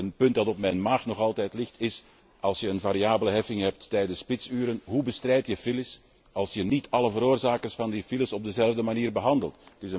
Een punt dat nog altijd op mijn maag ligt is als je een variabele heffing hebt tijdens spitsuren, hoe bestrijd je files als je niet alle veroorzakers van die files op dezelfde manier behandelt?